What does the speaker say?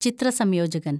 ചിത്ര സംയോജകന്‍